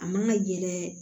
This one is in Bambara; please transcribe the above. A man ka yɛlɛ